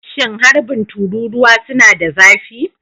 Shin harbin tururuwa suna da zafi?